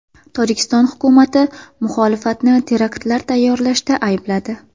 Tojikiston hukumati muxolifatni teraktlar tayyorlashda aybladi.